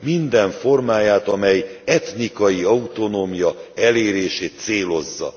minden formáját, amely etnikai autonómia elérését célozza.